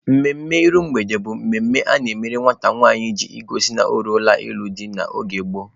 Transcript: Mmemme iru mgbede bụ mmemme a na-emere nwata nwanyị iji gosi na o ruola ịlụ di n'oge gboo.